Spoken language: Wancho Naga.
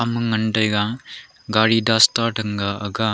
ema ngan taiga gaari dasta tang ga aga a.